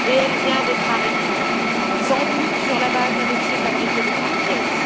Elle vient d'être arrêtée, sans doute sur la base d'un dossier fabriqué de toutes pièces.